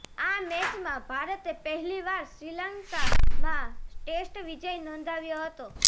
આ મેચમાં ભારતે પહેલીવાર શ્રીલંકામાં ટેસ્ટ વિજય નોંધાવ્યો હતો